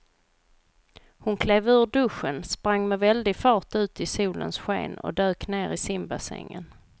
Hon klev ur duschen, sprang med väldig fart ut i solens sken och dök ner i simbassängen.